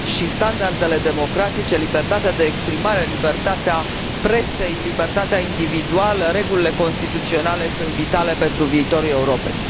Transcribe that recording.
Standardele democratice, libertatea de exprimare, libertatea presei, libertatea individuală și regulile constituționale sunt vitale pentru viitorul Europei.